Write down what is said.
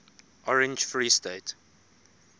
orange free state